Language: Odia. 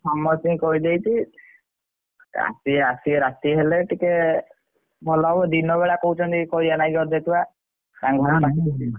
ସମସ୍ତିଙ୍କି କହିଦେଇଛି ଆସିବେ ରାତି ହେଲେ ଟିକେ ଭଲ ହବ ଦିନ ବେଳା କହୁଛନ୍ତି ଅଧେ ଛୁଆ ।